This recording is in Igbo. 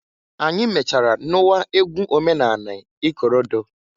Anyị mechaara nụwa egwu omenanị ikorodo.